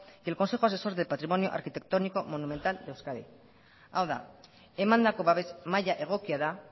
y el consejo asesor de patrimonio arquitectónico monumental de euskadi hau da emandako babes maila egokia da